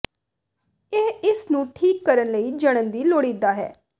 ਇਹ ਇਸ ਨੂੰ ਠੀਕ ਕਰਨ ਲਈ ਜਣਨ ਹੀ ਲੋੜੀਦਾ ਹੈ